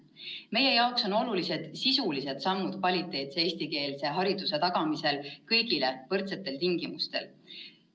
Meie jaoks on olulised sisulised sammud kvaliteetse eestikeelse hariduse tagamisel kõigile võrdsetel tingimustel.